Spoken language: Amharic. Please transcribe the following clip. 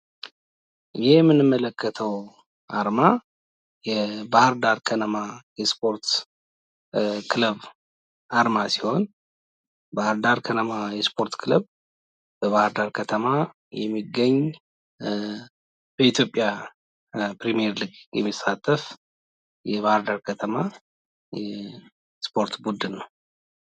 ይህ የምንመለከተው አርማ የባህርዳር ከነማ የስፖርት ክለብ አርማ ሲሆን ባህርዳር ከነማ የስፖርት ክለብ በባህርዳር ከተማ የሚገኝ በኢትዮጵያ ፕሪሚየር ሊግ የሚሳተፍ የባህርዳር ከተማ የስፖርት ቡድን ነው።